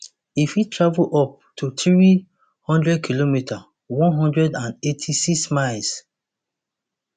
e fit travel up to three hundredkm one hundred and eighty-six miles